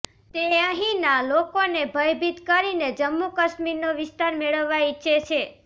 તે અહીંના લોકોને ભયભીત કરીને જમ્મૂ કાશ્મીરનો વિસ્તાર મેળવવા ઇચ્છે છે